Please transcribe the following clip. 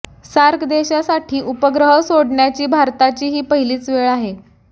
SAARC देशांसाठी उपग्रह सोडण्याची भारताची ही पहिलीच वेळ आहे